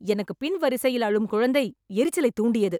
எனக்குப் பின் வரிசையில் அழும் குழந்தை எரிச்சலைத் தூண்டியது